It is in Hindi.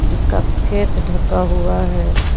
जिसका फेस ढका हुआ है।